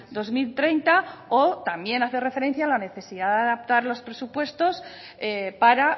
dos mil treinta o también hacer referencia a la necesidad de adaptar los presupuestos para